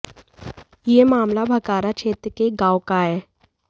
यह मामला भखारा क्षेत्र के एक गांव का है